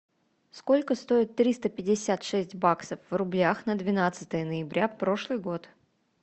сколько стоит триста пятьдесят шесть баксов в рублях на двенадцатое ноября прошлый год